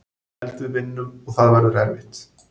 Held við vinnum og það verður erfitt.